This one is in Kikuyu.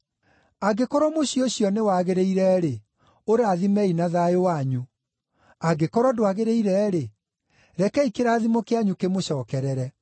Angĩkorwo mũciĩ ũcio nĩwagĩrĩire-rĩ, ũrathimei na thayũ wanyu; angĩkorwo ndwagĩrĩire-rĩ, rekei kĩrathimo kĩanyu kĩmũcookerere.